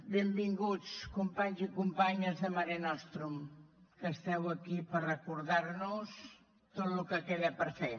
benvinguts companys i companyes de mare mortum que esteu aquí per recordar nos tot el que queda per fer